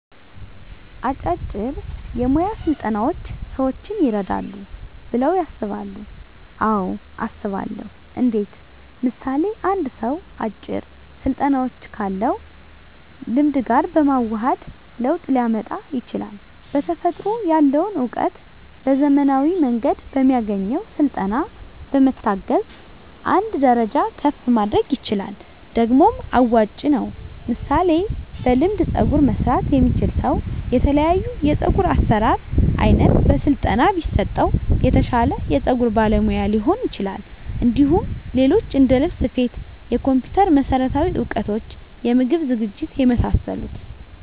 አጫጭር የሞያ ስልጠናዎች ሰዎችን ይረዳሉ ብለው ያስባሉ አዎ አስባለሁ እንዴት ምሳሌ አንድ ሰው አጭር ስልጠናዎችን ካለው ልምድ ጋር በማዋሀድ ለውጥ ሊያመጣ ይችላል በተፈጥሮ ያለውን እውቀት በዘመናዊ መንገድ በሚያገኘው ስልጠና በመታገዝ አንድ ደረጃ ከፍ ማድረግ ይችላል ደግሞም አዋጭ ነው ምሳሌ በልምድ ፀጉር መስራት የሚችል ሰው የተለያዮ የፀጉር አሰራር አይነት በስለጠና ቢሰጠው የተሻለ የፀጉር ባለሙያ ሊሆን ይችላል እንዲሁም ሌሎች እንደልብስ ስፌት የኮምፒተር መሠረታዊ እውቀቶች የምግብ ዝግጅት የመሳሰሉት